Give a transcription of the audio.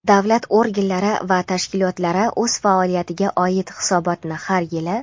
davlat organlari va tashkilotlari o‘z faoliyatiga oid hisobotni har yili:.